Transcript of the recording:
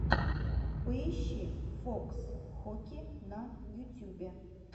поищи фокс хоки на ютюбе